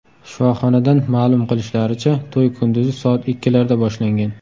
Shifoxonadan ma’lum qilishlaricha, to‘y kunduzi soat ikkilarda boshlangan.